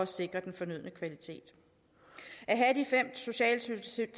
sikret den fornødne kvalitet at have de fem socialtilsyn